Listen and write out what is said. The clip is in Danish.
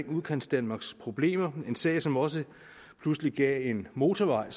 udkantsdanmarks problemer en sag som også pludselig gav en motorvej